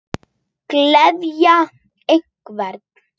Gleðja hvern?